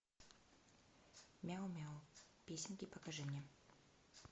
мяу мяу песенки покажи мне